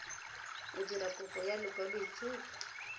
o dirang kopo ya lekwaloitshupo